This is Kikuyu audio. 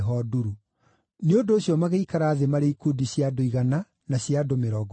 Nĩ ũndũ ũcio magĩikara thĩ marĩ ikundi cia andũ igana na cia andũ mĩrongo ĩtano.